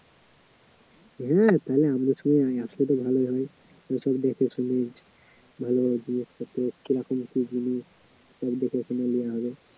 হ্যা তাহলে আমরা সবাই আসলে তো ভালো হবে ভাল ভাল জিনিসপত্র কি রকম কি জিনিস দেখে শুনে লেয়া হবে